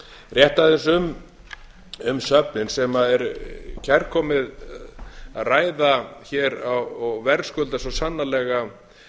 rétt aðeins um söfnin sem er kærkomið að ræða hér og verðskuldar svo sannarlega